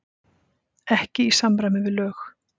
Ekki í samræmi við lög